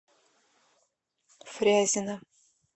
фрязино